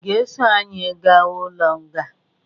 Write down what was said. Ị ga-eso anyi ga ụlo nga?